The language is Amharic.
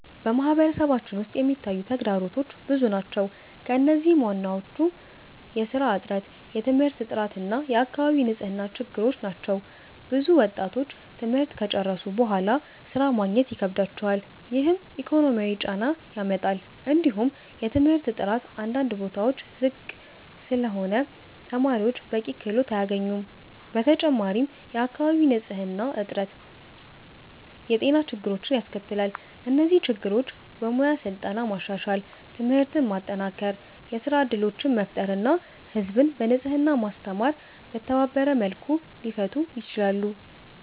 በማህበረሰባችን ውስጥ የሚታዩ ተግዳሮቶች ብዙ ናቸው፣ ከእነዚህም ዋናዎቹ የሥራ እጥረት፣ የትምህርት ጥራት እና የአካባቢ ንጽህና ችግሮች ናቸው። ብዙ ወጣቶች ትምህርት ከጨረሱ በኋላ ሥራ ማግኘት ይከብዳቸዋል፣ ይህም ኢኮኖሚያዊ ጫና ያመጣል። እንዲሁም የትምህርት ጥራት አንዳንድ ቦታዎች ዝቅ ስለሆነ ተማሪዎች በቂ ክህሎት አያገኙም። በተጨማሪም የአካባቢ ንጽህና እጥረት የጤና ችግሮችን ያስከትላል። እነዚህ ችግሮች በሙያ ስልጠና ማሻሻል፣ ትምህርትን ማጠናከር፣ የሥራ እድሎችን መፍጠር እና ህዝብን በንጽህና ማስተማር በተባበረ መልኩ ሊፈቱ ይችላሉ።